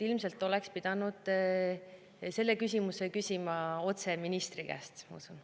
Ilmselt oleks pidanud selle küsimuse küsima otse ministri käest.